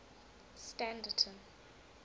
standerton